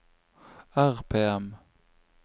RPM